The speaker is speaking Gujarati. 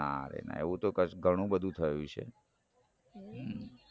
ના રે ના એવું તો ઘણું બધું થયું છે